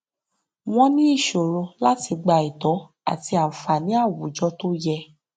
wọn ní ìṣòro láti gba ẹtọ àti ànfààní awùjọ tó yẹ